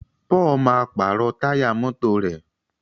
Paul má pààrọ̀ Táyà mọ́tò rẹ